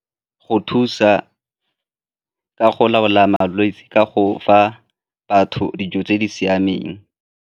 Go thusa ka go laola malwetse ka go fa batho dijo tse di siameng.